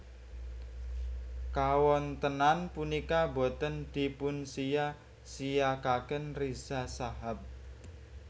Kawontenan punika boten dipunsiya siyakaken Riza Shahab